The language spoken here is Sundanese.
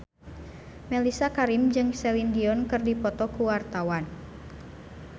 Mellisa Karim jeung Celine Dion keur dipoto ku wartawan